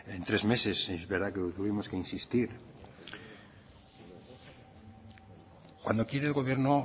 en tres meses es verdad que tuvimos que insistir cuando quiere el gobierno